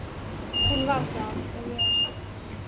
Hún var það og er.